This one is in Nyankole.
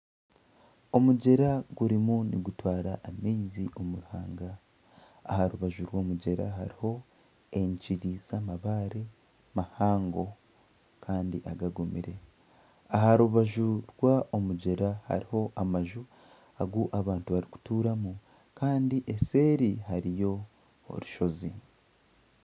Omugyera gurimu nigutwara amaizi omu ruhanga. Aha rubaju rw'omugyera hariho enkiri z'amabaare mahango kandi agagumire. Aha rubaju rw'omugyera hariho amaju agu abantu barikutuuramu kandi eseeri hariyo orushozi.